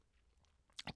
DR K